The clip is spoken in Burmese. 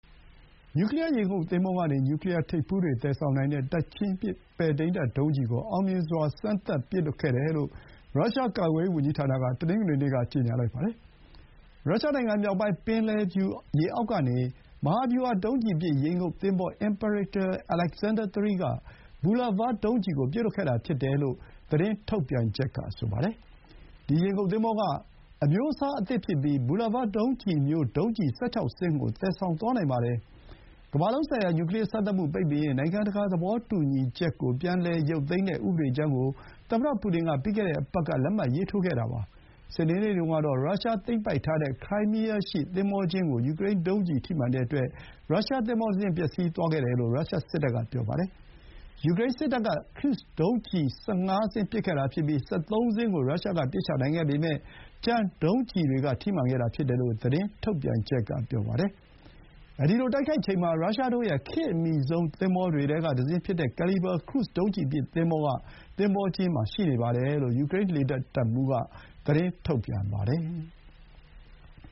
နျူကလီယာ ရေငုပ်သင်္ဘောကနေ နျူကလီယာထိပ်ဖူးတွေ သယ်ဆောင်နိုင်တဲ့ တိုက်ချင်းပစ် ပဲ့ထိန်းတပ်ဒုံးကျည်ကို အောင်မြင်စွာ စမ်းသပ်ပစ်လွှတ်ခဲ့တယ်လို့ ရုရှား ကာကွယ်ရေးဝန်ကြီးဌာနက တနင်္ဂနွေနေ့က ပြောပါတယ်။ ရုရှားနိုင်ငံမြောက်ပိုင်း ပင်လယ်ဖြူ ရေအောက်ကနေ မဟာဗျူဟာ ဒုံးကျည်ပစ် ရေငုပ်သင်္ဘော Imperator Alexander III က ဘူလာဗား Bulava ဒုံးကျည်ကို ပစ်လွှတ်ခဲ့တာဖြစ်တယ်လို့ သတင်းထုတ်ပြန်ချက်က ဆိုပါတယ်။ ဒီ ရေငုပ်သင်္ဘောက အမျိုးအစားအသစ်ဖြစ်ပြီး ဘူလာဗားဒုံးကျည်မျိုး ဒုံးကျည် ၁၆ စင်းကို သယ်သွားနိုင်ပါတယ်။ ကမ္ဘာလုံးဆိုင်ရာ နျူကလီယာစမ်းသပ်မှုပိတ်ပင်ရေး နိုင်ငံတကာသဘောတူညီချက်ကို ပြန်ရုပ်သိမ်းတဲ့ ဥပဒေကြမ်း ကို သမ္မတပူတင်က ပြီးခဲ့တဲ့ အပတ်က လက်မှတ်ရေးထိုးခဲ့တာပါ။ စနေနေ့တုန်းကတော့ ရုရှားသိမ်းပိုက်ထားတဲ့ ခရိုင်းမီးယားရှိ သင်္ဘောကျင်းကို ယူကရိန်းဒုံးကျည်ထိမှန်တဲ့အတွက် ရုရှားသင်္ဘောတစင်း ပျက်စီးသွားတယ်လို့ ရုရှား စစ်တပ်က ပြောပါတယ်။ ယူကရိန်းစစ်တပ်က ခရုဇ် ဒုံးကျည် ၁၅ စင်း ပစ်ခဲ့ပြီး ၁၃ စင်းကို ရုရှားက ပစ်ချနိုင်ခဲ့ပေမဲ့ ကျန်ဒုံးကျည်တွေက ထိမှန်ခဲ့တာ ဖြစ်တယ်လို့ သတင်းထုတ်ပြန်ချက်က ပြောပါတယ်။ အဲဒီလို တိုက်ခိုက်ချိန်မှာ ရုရှားတို့ရဲ့ ခေတ်အမီဆုံးသင်္ဘောတွေထဲကတစင်းဖြစ်တဲ့ Kalibr ခရုဇ်ဒုံးကျည်ပစ် သင်္ဘော က သင်္ဘောကျင်းမှာ ရှိနေတယ် လို့ ယူကရိန်းလေတပ်တပ်မှူးက သတင်းထုတ်ပြန်ပါတယ်။